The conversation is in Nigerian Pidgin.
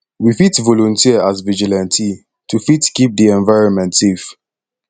we fit volunteer as vigilante to fit keep di environment safe